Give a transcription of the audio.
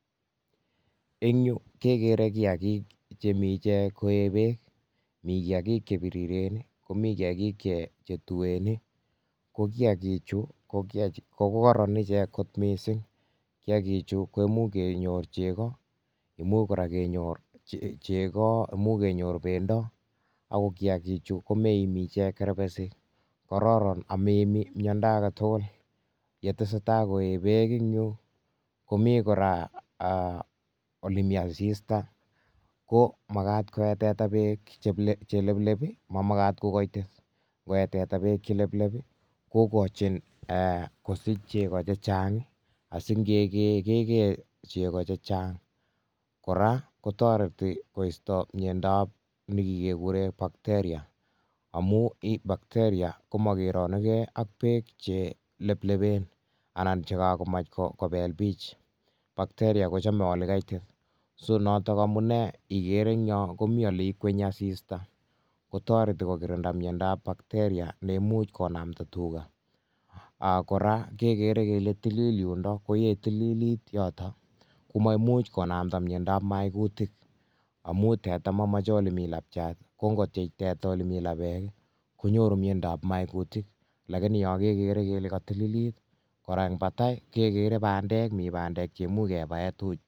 Eng yu kekere kiagik chemi ichek ko ee peek, mi kiagik che biriren ii, komi kiagik che tuen ii, ko kiagi chu ko kororon ichek kot mising, kiagi chu kemuch kenyor chego, imuch kora kenyor chego, imuch kenyor bendo ako kiagichu komeimi ichek kerbesik, kororon ak meimi miondo ake tugul, yetesetai koe peek eng yu komi kora ole mi asista ko makat koe teta peek che lelep ii mamakat ko kaitit, ngoe teta peek che lelep ii kokochin kosich chego che chang ii, asi ngekee kekee chego che chang, kora kotoreti koisto miondab nekikekure bacteria amu bacteria komakeranukei ak peek che leplepen anan che kakomach kobelpich, bacteria kochome olekaitit, so notok amune ikere ingyo komi oleikwenyi asista, kotoreti kokirinda miondab bacteria neimuch konamda tuga, um kora kekere kele tilil yundo, koye tililit yoto, komamuch konamda miondab maikutik, amu teta mamoche ole mi lapchat, ko ngotyech teta ole mi lapeek ii konyoru miondab maikutik lakini yo kekere kele katililt, kora eng batai kekere bandek mi bandek cheimuch kebae.